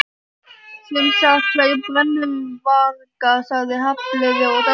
Sem sagt, tveir brennuvargar sagði Hafliði og dæsti.